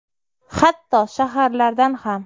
Hatto shaharlardan ham.